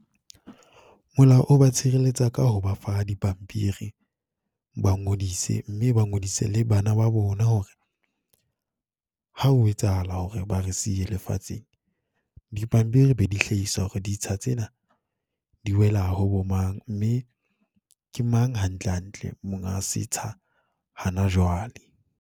Molao ba tshireletsa ka ho ba fa dipampiri, ba ngodise mme ba ngodise le bana ba bona hore, ha ho etsahala hore ba re siye le fatsheng, dipampiri be di hlahisa hore ditsha tsena, di wela ho bo mang. Mme ke mang hantle hantle monga setsha hana jwale.